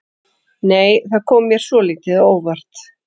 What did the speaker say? Nei! Það kom mér svolítið á óvart!